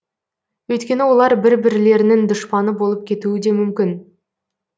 өйткені олар бір бірлерінің дұшпаны болып кетуі де мүмкін